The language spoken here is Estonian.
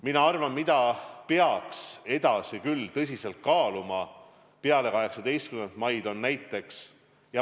Mina arvan, et tõsiselt peaks kaaluma, et ka peale 18. maid jääb kehtima 2 + 2 reegel.